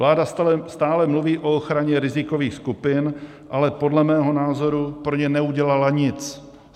Vláda stále mluví o ochraně rizikových skupin, ale podle mého názoru pro ně neudělala nic.